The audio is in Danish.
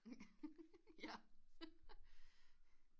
Ja